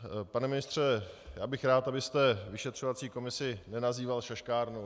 Pane ministře, já bych rád, abyste vyšetřovací komisi nenazýval šaškárnou.